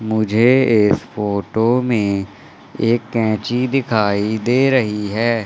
मुझे इस फोटो में एक कैंची दिखाई दे रही है।